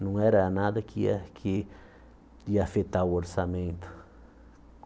Não era nada que ia que ia afetar o orçamento.